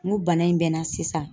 N ko bana in bɛ n na sisan